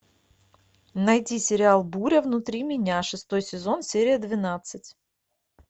найти сериал буря внутри меня шестой сезон серия двенадцать